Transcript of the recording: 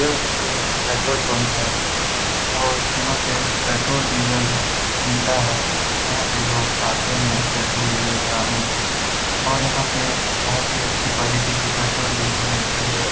यह एक petrol pump है और यहाँ पे पेट्रोल डीजल मिलता है। यहाँ पे लोग आते है पेट्रोल डीजल भराने और यहाँ पे बोहोत ही अच्छी क्वालिटी की पेट्रोल डीजल मिलती है।